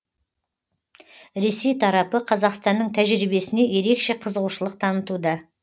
ресей тарапы қазақстанның тәжірибесіне ерекше қызығушылық танытуда